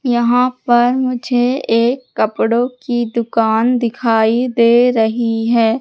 यहां पर मुझे एक कपड़ों की दुकान दिखाई दे रही हैं।